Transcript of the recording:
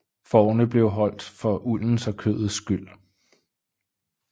Fårene blev holdt for uldens og kødets skyld